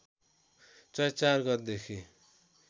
चैत्र ४ गतेदेखि